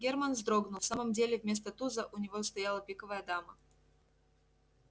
германн вздрогнул в самом деле вместо туза у него стояла пиковая дама